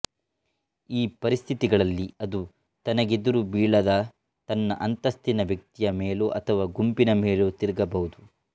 ಈ ಪರಿಸ್ಥಿತಿಗಳಲ್ಲಿ ಅದು ತನಗೆದುರುಬೀಳದ ತನ್ನ ಅಂತಸ್ತಿನ ವ್ಯಕ್ತಿಯ ಮೇಲೋ ಅಥವಾ ಗುಂಪಿನ ಮೇಲೋ ತಿರುಗಬಹುದು